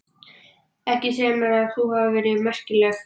Ekki segja mér að þú hafir verið merkilegri.